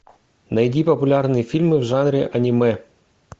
найди популярные фильмы в жанре аниме